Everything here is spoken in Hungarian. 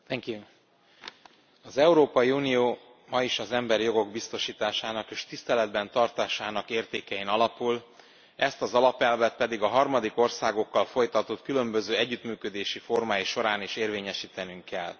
Elnök Asszony, az Európai Unió ma is az emberi jogok biztosításának és tiszteletben tartásának értékein alapul, ezt az alapelvet pedig a harmadik országokkal folytatott különböző együttműködési formái során is érvényesítenünk kell.